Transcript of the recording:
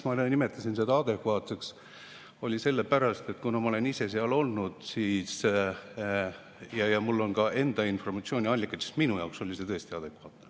Ma nimetasin seda adekvaatseks sellepärast, et kuna ma olen ise seal olnud ja mul on ka enda informatsiooniallikad, siis minu jaoks oli see tõesti adekvaatne.